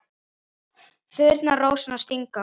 Þyrnar rósanna stinga.